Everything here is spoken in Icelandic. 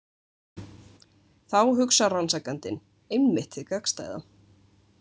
Þá hugsar rannsakandinn einmitt hið gagnstæða.